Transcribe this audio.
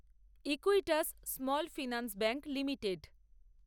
Equitas small finance bank limited